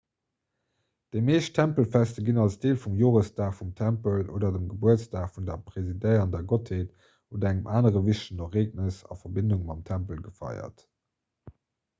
déi meescht tempelfester ginn als deel vum joresdag vum tempel oder dem gebuertsdag vun der presidéierender gottheet oder engem anere wichtegen ereegnes a verbindung mam tempel gefeiert